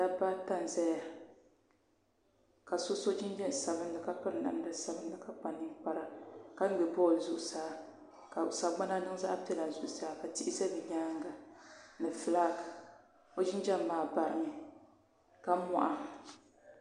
dabba ata n-zaya ka so so jinjam sabilinli ka piri namda sabilinli ka kpa ninkpara ka ŋme bɔlli zuɣusaa ka sagbananima niŋ zaɣ' piɛla zuɣusaa ka tihi za bɛ nyaaŋa ni fulaaki o jinjam maa barimi ka mɔha